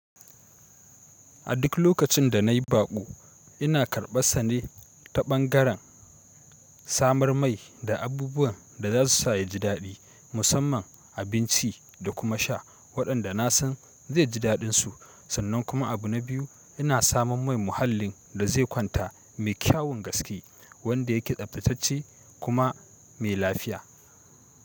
A duk lokacin da nayi baƙo ina karɓa sane ta ɓangaren samar mai da abubuwan da za su sa ya ji daɗi musamman abinci da kuma sha waɗanda na san zai ji daɗinsu sannan kuma abu na biyu ina samun mai muhallin da zai kwanta mai kyawun gaske wanda yake tsaftatacce kuma mai lafiya.